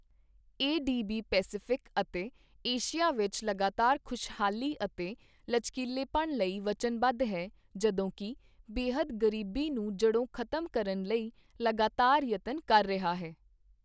ਏ D B Pacific ਅਤੇ Asia ਵਿੱਚ ਲਗਾਤਾਰ ਖੁਸ਼ਹਾਲੀ ਅਤੇ ਲਚਕੀਲੇਪਣ ਲਈ ਵਚਨਬੱਧ ਹੈ, ਜਦੋਂਕਿ ਬੇਹੱਦ ਗਰੀਬੀ ਨੂੰ ਜੜੋਂ ਖ਼ਤਮ ਕਰਨ ਲਈ ਲਗਾਤਾਰ ਯਤਨ ਕਰ ਰਿਹਾ ਹੈ।